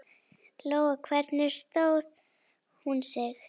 Lóa: Hvernig stóð hún sig?